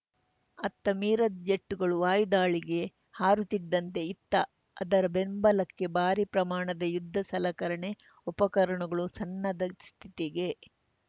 ಅತ್ತ ಮಿರಾಜ್‌ ಜೆಟ್‌ಗಳು ವಾಯುದಾಳಿಗೆ ಹಾರುತ್ತಿದ್ದಂತೆ ಇತ್ತ ಅದರ ಬೆಂಬಲಕ್ಕೆ ಭಾರೀ ಪ್ರಮಾಣದ ಯುದ್ಧ ಸಲಕರಣೆ ಉಪಕರಣಗಳು ಸನ್ನದ್ಧ ಸ್ಥಿತಿಗೆ